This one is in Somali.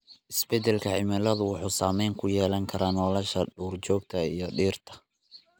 Isbedelka cimiladu wuxuu saameyn ku yeelan karaa nolosha duurjoogta iyo dhirta.